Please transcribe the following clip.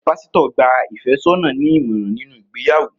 Pásítọ̀ gba ìfẹ́sọ́nà ní ìmọ̀ràn nínú ìgbéyàwó